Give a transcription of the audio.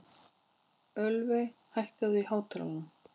Ölveig, hækkaðu í hátalaranum.